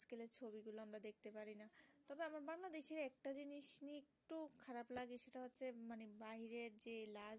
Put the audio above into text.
বাইরের যে লা